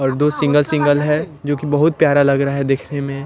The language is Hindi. और दो सिंगल सिंगल है जोकि बहुत प्यारा लग रहा है देखने में।